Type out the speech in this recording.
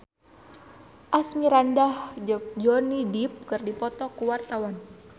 Asmirandah jeung Johnny Depp keur dipoto ku wartawan